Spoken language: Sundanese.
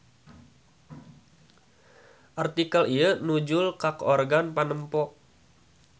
Artikel ieu nujul ka organ panempo.